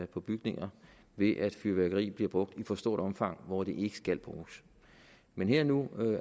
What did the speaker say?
på bygninger ved at fyrværkeri bliver brugt i for stort omfang hvor det ikke skal bruges men her og nu